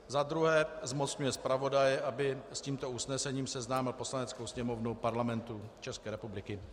Za druhé, zmocňuje zpravodaje, aby s tímto usnesením seznámil Poslaneckou sněmovnu Parlamentu České republiky.